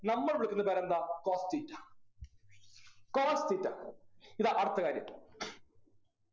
നമ്മൾ വിളിക്കുന്ന പേരെന്താ cos theta cos theta ഇതാ അടുത്ത കാര്യം